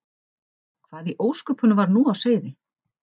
Hvað í ósköpunum var nú á seyði?